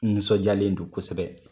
N nisɔnjalen don kosɛbɛ.